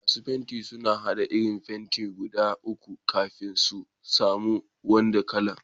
Masun fentin sun hada irin fenti guda uku kafin sun samu wanan kala'n.